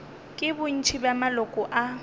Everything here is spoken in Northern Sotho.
ke bontši bja maloko a